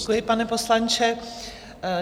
Děkuji, pane poslanče.